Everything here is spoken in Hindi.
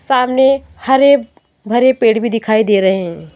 सामने हरे भरे पेड़ भी दिखाई दे रहे हैं।